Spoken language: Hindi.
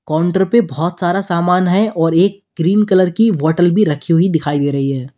काउंटर पे बहुत सारा सामान है और एक ग्रीन कलर की बॉटल भी रखी हुई दिखाई दे रही है।